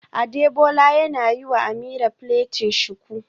Adebola yana yiwa Ameerah plaiting shuku